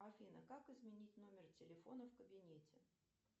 афина как изменить номер телефона в кабинете